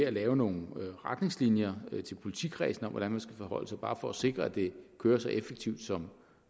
at lave nogle retningslinjer til politikredsene om hvordan man skal forholde sig bare for at sikre at det kører så effektivt som